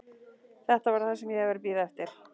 Þetta var það sem ég hafði verið að bíða eftir.